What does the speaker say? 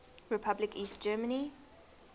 republic east germany